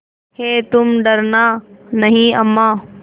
हैतुम डरना नहीं अम्मा